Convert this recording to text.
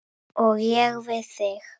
Og ég við þig.